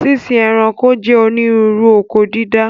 Sínsín ẹranko jẹ́ onírúurú oko dídá